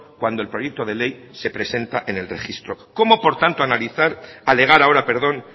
cuando el proyecto de ley se presenta en el registro cómo por tanto analizar alegar ahora perdón